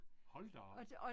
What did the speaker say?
Hold da op